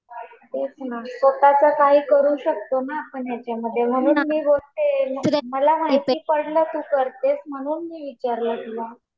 तेच ना. स्वतःच काही करू शकतो ना आपण याच्यामध्ये म्हणून मी बोलतीये. मला माहिती पडलं तू करतेस म्हणून मी विचारलं तुला